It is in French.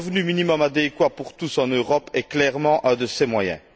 Et le revenu minimum adéquat pour tous en Europe est clairement un de ces moyens.